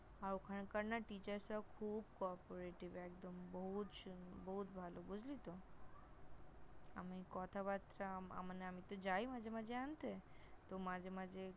আর ওখানকার না Teacher -রাও খুব Cooperative একদম বহুত বহুত ভালো, বুঝলি তো? আমি কথাবার্তা মানে আমি তো যাই মাঝে মাঝে আনতে তো মাঝে মাঝে এক-দুবার Meetings attend করেছিলাম ।